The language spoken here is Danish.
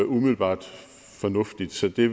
umiddelbart fornuftigt så det